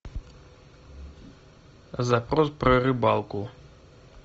запрос про рыбалку